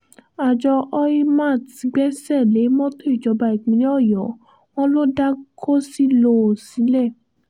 àjọ oymat gbẹ́sẹ̀ lé mọ́tò ìjọba ìpínlẹ̀ ọ̀yọ́ wọn ló dá gòṣìlọ́ọ́ sílẹ̀